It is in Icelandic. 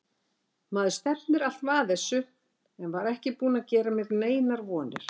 Maður stefnir alltaf að þessu en var ekki búinn að gera mér neinar vonir.